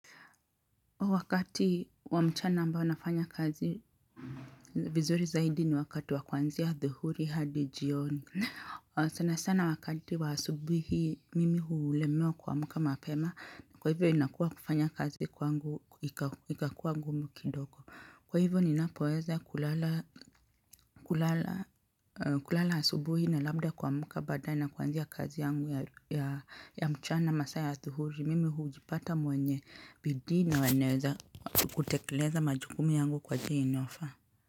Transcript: Wakati wa mchana ambao nafanya kazi vizuri zaidi ni wakati wa kuanzia adhuhuri hadi jioni. Sana sana wakati wa asubuhi hii mimi hulemewa kuamka mapema. Kwa hivyo inakuwa kufanya kazi kwangu ika ikakuwa ngumu kidogo. Kwa hivyo ninapoweza kulala kulala asubuhi na labda kuamka baadaye na kuanzia kazi yangu ya mchana masaa ya adhuhuri. Mimi hujipata mwenye bidii na waneweza kutekeleza majukumu yangu kwa njia inayofaa.